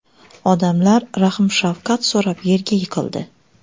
Odamlar rahm-shafqat so‘rab yerga yiqildi.